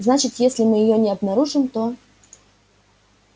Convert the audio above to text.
значит если мы её не обнаружим то